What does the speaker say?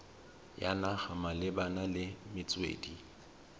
ya naga malebana le metswedi